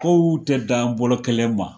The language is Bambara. Kow tɛ dan bɔlɔ kɛlen ma